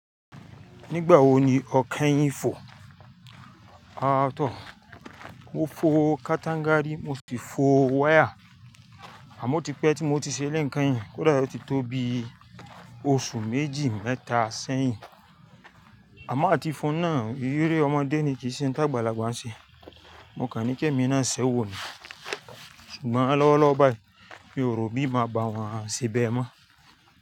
Nígbà wo ni ọ ke yín fò? Aàtọ́, mo fo katangari, mo sì fo wire. Àmọ́ o ti pẹ́ tí mo ti ṣe eleyìí keyin, kódà ó ti tó bi oṣù méjì mẹ́ta sẹ́yìn. A mo ati fọ́nà, ere ọmọdé ni kì í ṣe ń tá gbàlagbà ṣe. Mo kà ní kí èmi náà ṣẹ́wó ni, ṣùgbọ́n lọ́wọ́lọ́wọ́ báyìí, mi ò rò bí mo máa bá wọn ṣe bẹ́ẹ̀ mọ́